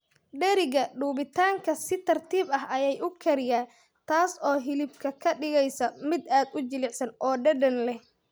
Dheriga dubitaanka si tartiib ah ayay u kariyaa, taas oo hilibka ka dhigaysa mid aad u jilicsan oo dhadhan leh.